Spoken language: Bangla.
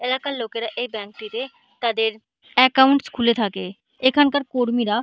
এলাকার লোকেরা এই ব্যাঙ্ক টিতে তাদের একাউন্টস খুলে থাকে। এখানকার কর্মীরা--